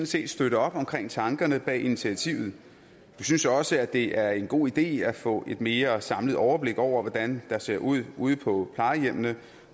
set støtte op om tankerne bag initiativet vi synes også det er en god idé at få et mere samlet overblik over hvordan det ser ud ude på plejehjemmene